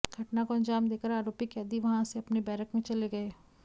घटना को अंजाम देकर आरोपी कैदी वहां से अपने बैरक में चले गये